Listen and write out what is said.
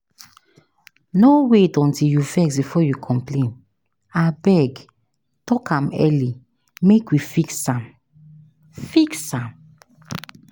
No wait until you vex before you complain, abeg talk am early make we fix am. fix am.